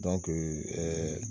Dɔnke ɛɛ